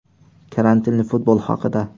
Karantinli futbol haqida.